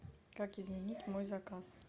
как изменить мой заказ